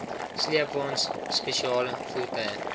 sleepwaens spesiale voertuie